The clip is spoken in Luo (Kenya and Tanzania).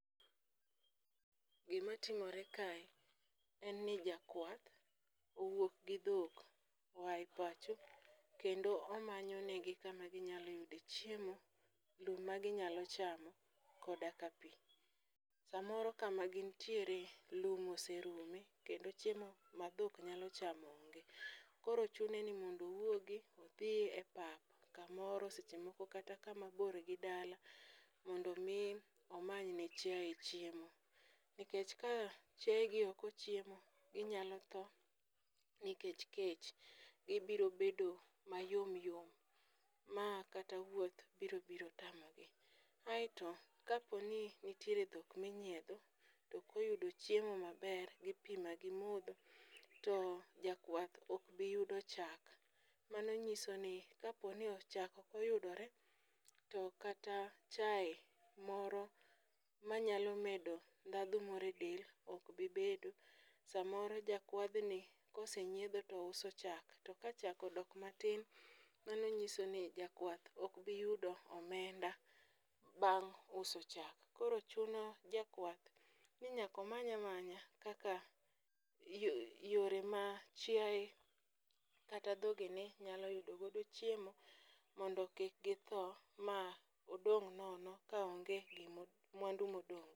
Gimtimore kae en ni jakwath owuok gi dhok oa e pacho, kendo omanyo negi kama ginyalo yude chiemo, gima ginyalo chamo koda ka pi. Samoro kama gintiere lum oserumo kendo chiemo ma dhok nyalo chamo onge. Koro chune ni mondo owuogi, odhi e pap kamoro seche moko kama bor gi dala mondo omi omany ne chiaye chiemo, nikech ka chiayegi ok ochiemo ginyalo tho nikech kech. gibiro bedo mayom yom ma kata wuoth biro tamogi. Aeto kaponi nitiere dhok minyiedho, tok oyudo chiemo maber gi pi ma gimodho, to jakwath ok biyudo chak, mano nyiso ni kapo ni chak ok oyudore to kata chaye moro manyalo medo ndhadhu moro e del ok gibedo, samoro jakwadhni kosenyiedho touso cha. To ka chak odok matin, mano nyiso ni jakwath ok biyudo omenda bang' uso chak. Koro chuno jakwath ni nyaka omany amanya kaka yore ma chiaye kata dhogene nyal yudo godo chiemo mondo kik githo ma odong' nono ka onge mwandu modong'.